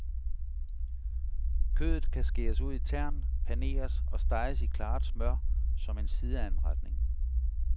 Kødet kan skæres ud i tern, paneres og steges i klaret smør som en sideanretning.